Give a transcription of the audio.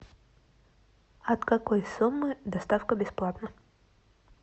от какой суммы доставка бесплатная